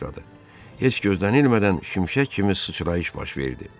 Heç gözlənilmədən şimşək kimi sıçrayış baş verdi.